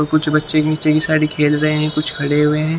और कुछ बच्चे नीचे की साड़ी खेल रहे हैं कुछ खड़े हुए हैं।